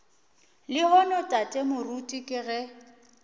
lehono tate moruti ke ge